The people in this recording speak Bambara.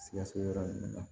Sikaso yɔrɔ ninnu na